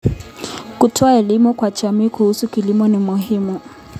Kutoa elimu kwa jamii kuhusu kilimo ni muhimu.